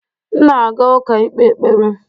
M na-aga ụka ikpe ekpere